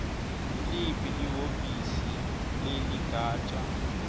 nguliphi lihhovisi leligatja